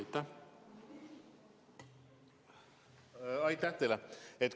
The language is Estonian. Aitäh teile!